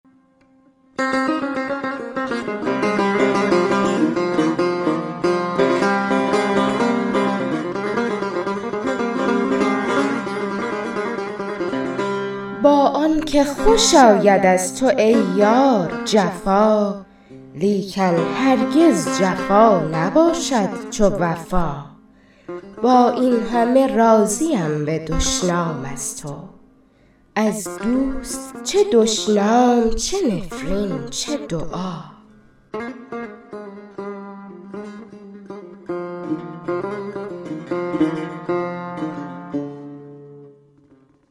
با آنکه خوش آید از تو ای یار جفا لیکن هرگز جفا نباشد چو وفا با این همه راضیم به دشنام از تو از دوست چه دشنام چه نفرین چه دعا